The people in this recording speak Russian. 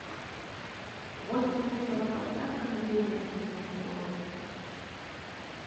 в восемь вечера поставь кондей на среднюю скорость